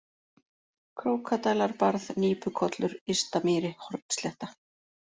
Krókadælarbarð, Nípukollur, Ystamýri, Hornslétta